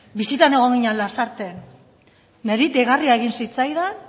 bisitan egon ginen lasarten nire deigarria egin zitzaidan